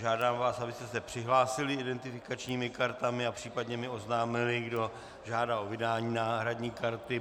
Žádám vás, abyste se přihlásili identifikačními kartami a případně mi oznámili, kdo žádá o vydání náhradní karty.